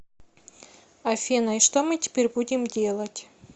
афина и что мы теперь будем делать